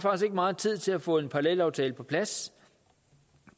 meget tid til at få en parallelaftale på plads